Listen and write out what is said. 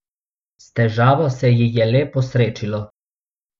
S težavo se ji je le posrečilo.